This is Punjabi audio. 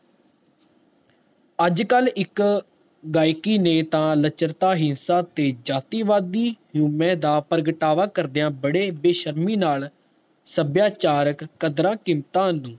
ਅੱਜਕਲ ਇਕ ਗਾਇਕੀ ਨੇ ਤਾ ਲੱਚਰਤਾ ਹੀ ਤੇ ਜਾਤੀਵਾਦੀ ਹਉਮੈ ਦਾ ਪ੍ਰਗਟਾਵਾ ਕਰਦਿਆਂ ਬੜੀ ਬੇਸ਼ਰਮੀ ਨਾਲ, ਸੱਭਿਆਚਾਰਕ ਕਦਰਾਂ ਕੀਮਤਾਂ ਨੂੰ